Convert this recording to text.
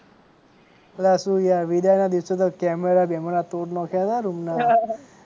અલ્યા શું યાર વિદાઇ ના દિવસે તો કેમેરા બેમેરા તોડી નાખ્યા તા રૂમ ના